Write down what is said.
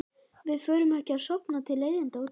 Við förum ekki að stofna til leiðinda út af þessu.